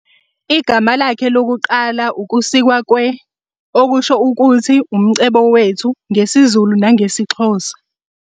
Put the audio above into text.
Igama lakhe lokuqala ukusikwa kwe-, okusho ukuthi "umcebo wethu" ngesiZulu nangesiXhosa.